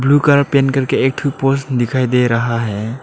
Blue colour paint करके एक ठो पोल्स दिखाई दे रहा है।